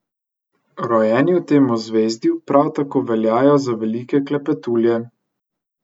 Rojeni v tem ozvezdju prav tako veljajo za velike klepetulje.